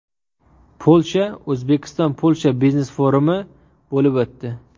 Polsha O‘zbekiston-Polsha biznes-forumi bo‘lib o‘tdi.